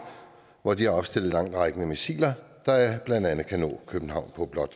hvor de har opstillet langtrækkende missiler der blandt andet kan nå københavn på blot